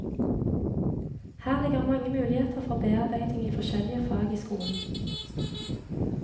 Her ligger mange muligheter for bearbeiding i forskjellige fag i skolen.